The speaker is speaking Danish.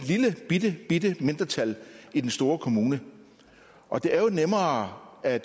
lillebitte mindretal i den store kommune og det er jo nemmere at